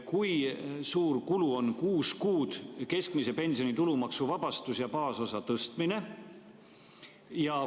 Kui suur kulu on kuus kuud keskmise pensioni tulumaksuvabastust ja baasosa tõstmine?